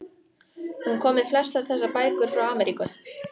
Hún kom með flestar þessar bækur frá Ameríku.